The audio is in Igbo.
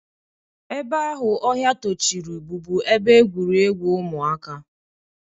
Ebe ahụ ọhịa tochiri bụbu ebe egwuregwu ụmụaka.